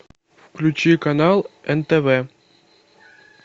включи канал нтв